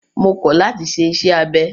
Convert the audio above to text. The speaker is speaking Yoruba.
Mo kọ̀ láti ṣe iṣẹ́ abẹ!